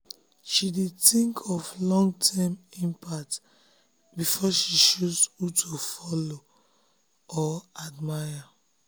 she dey think of long-term impact before she choose who to follow or admire.